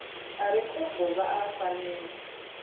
a re khombo vha fanela